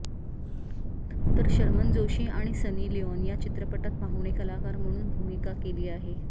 तर शर्मन जोशी आणि Sunny Leone या चित्रपटात पाहुणे कलाकार म्हणून भूमिका केली आहे